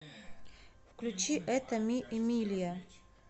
включи это ми эмилия